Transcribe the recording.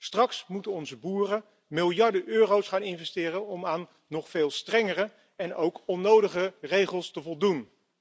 Straks moeten onze boeren miljarden euro's gaan investeren om aan nog veel strengere en ook onnodige regels te voldoen.